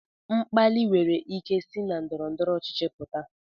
Mkpali nwere ike isi na ndọrọ ndọrọ ọchịchị pụta